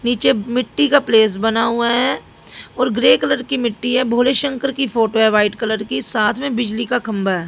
नीचे मिट्टी का प्लेस बना हुआ है और ग्रे कलर की मिट्टी है। भोले शंकर की फोटो है वाइट कलर की। साथ में बिजली का खंबा है।